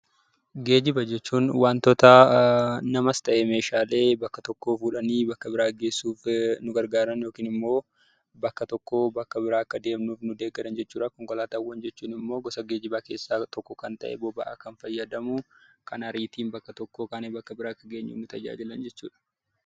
Geejiba jechuun waantota namas ta'ee waantota bakka tokkoo fuudhanii gara biraa geessuuf nu gargaaran yookaan immoo bakka tokkoo gara bakka biraa akka deemnuuf nu deeggaran jechuudha. Konkolaataawwan jechuun immoo gosa geejibaa keessaa tokko kan ta'e, boba'aa kan fayyadamu , kan ariitiin bakka tokkoo bakka biraatti akka geenyuuf nu tajaajilan jechuudha.